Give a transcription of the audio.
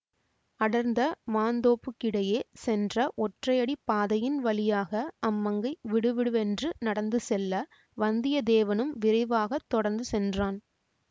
அடர்ந்த மாந்தோப்புக்கிடையே சென்ற ஒற்றையடி பாதையின் வழியாக அம்மங்கை விடுவிடுவென்று நடந்து செல்ல வந்தியத்தேவனும் விரைவாக தொடர்ந்து சென்றான்